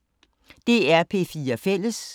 DR P4 Fælles